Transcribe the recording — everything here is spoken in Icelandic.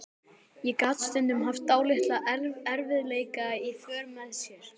En gat stundum haft dálitla erfiðleika í för með sér.